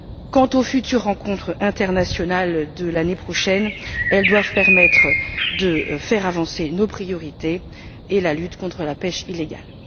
Quant aux rencontres internationales de l'année prochaine, elles doivent permettre de faire avancer nos priorités et la lutte contre la pêche illégale.